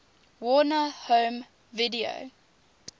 warner home video